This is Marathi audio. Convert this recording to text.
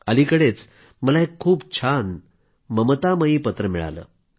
अलिकडेच मला एक खूप छान ममतामयी पत्र मिळालंय